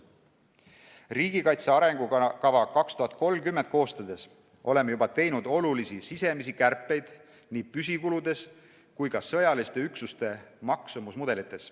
Riigikaitse arengukava 2030 koostades oleme juba teinud olulisi sisemisi kärpeid nii püsikuludes kui ka sõjaliste üksuste maksumuse mudelites.